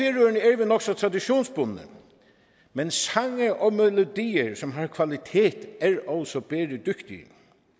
nok så traditionsbundne men sange og melodier som har kvalitet er også bæredygtige